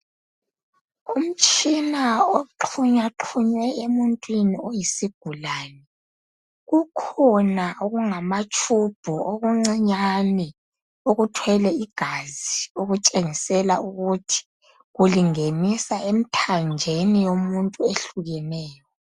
Umtshina oxhunywaxhunywe emuntwini oyisigulane. Kukhona okungatshubhu okuncinyane okuthwele igazi okutshengisela ukuthi kulingenisa emithanjeni yomuntu eyehlukeneyo